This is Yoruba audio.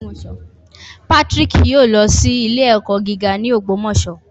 Patrick yoo lọ si ile-ẹkọ giga ni Ogbomoso